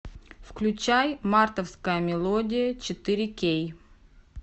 включай мартовская мелодия четыре кей